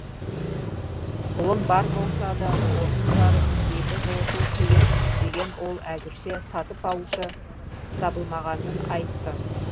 ұлым бар болса да отын жарып үйді жылыту қиын деген ол әзірше сатып алушы табылмағанын айтты